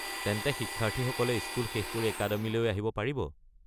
তেন্তে শিক্ষাৰ্থীসকলে স্কুল শেষ কৰি একাডেমীলৈ আহিব পাৰিব?